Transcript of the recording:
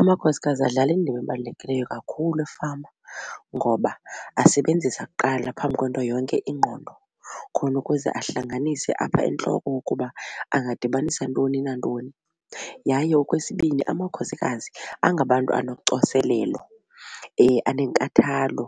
Amakhosikazi adlala indima ebalulekileyo kakhulu efama ngoba asebenzisa kuqala phambi kwento yonke ingqondo khona ukuze ahlanganise apha entloko ukuba angadibanisa ntoni nantoni. Yaye okwesibini amakhosikazi angabantu anocoselelo anenkathalo